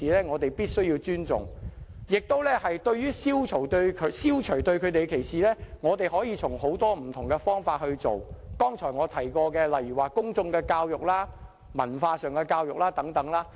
我們必須尊重不同性傾向人士，而消除對他們的歧視，可從很多不同的方法着手，例如我剛才提過的公眾教育、文化教育等。